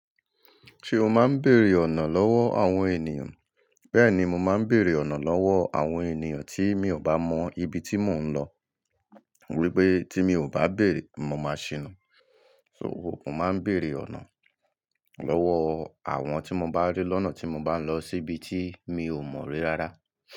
Ṣé o máa ń bèèrè ọ̀nà lọ́wọ́ àwọn ènìyàn? Bẹ́ẹ̀ni, mo máa ń bèèrè ọ̀nà lọ́wọ́ àwọn ènìyàn tí mi ò bá mọ ibi tí mò ń lọ. Wipé tí mi ò bá bèèrè, mo máa ṣina. So, mo máa ń bèèrè ọ̀nà lọ́wọ́ àwọn tí mo bá rí lọ́nà tí mo bá ń lọ síbi tí mi ò mọ̀ rí rárá.